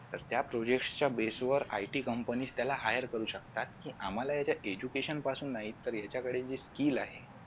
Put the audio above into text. तर त्या project च्या based वर IT company त्याला hire करू शकतात आणि आम्हाला याच्या education पासूनही तर यांच्याकडे जे skill आहे